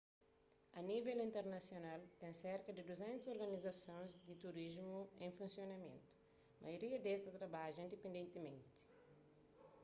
a nível internasional ten serka di 200 organizasons di turismu en funsionamentu maioria des ta trabadja indipendentimenti